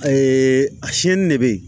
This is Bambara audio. a de bɛ yen